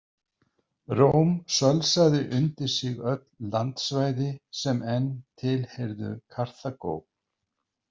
Róm sölsaði undir sig öll landsvæði sem enn tilheyrðu Karþagó.